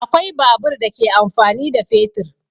Akwai babur da ke amfani da fetur.